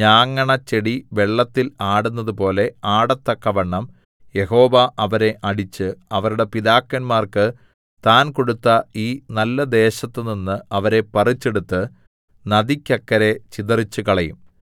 ഞാങ്ങണ ചെടി വെള്ളത്തിൽ ആടുന്നതുപോലെ ആടത്തക്കവണ്ണം യഹോവ അവരെ അടിച്ച് അവരുടെ പിതാക്കന്മാർക്ക് താൻ കൊടുത്ത ഈ നല്ലദേശത്തുനിന്ന് അവരെ പറിച്ചെടുത്ത് നദിക്കക്കരെ ചിതറിച്ചുകളയും